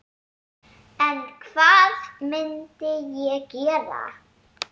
En hvað myndi ég gera?